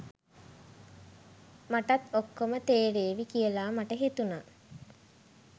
මටත් ඔක්කොම තේරේවි කියලා මට හිතුනා.